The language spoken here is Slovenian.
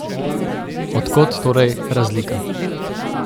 Od kod torej razlika?